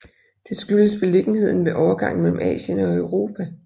Det skyldes beliggenheden ved overgangen mellem Asien og Europa